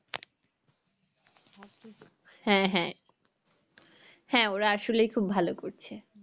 হ্যাঁ হ্যাঁ হ্যাঁ ওরা আসলেই খুব ভালো করছে